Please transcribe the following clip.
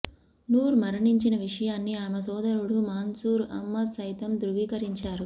నూర్ మరణించిన విషయాన్ని ఆమె సోదరుడు మన్సూర్ అహ్మద్ సైతం ధ్రువీకరించారు